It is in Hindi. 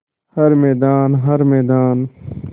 हर मैदान हर मैदान